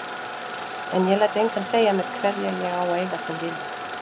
En ég læt engan segja mér hverja ég á að eiga sem vini.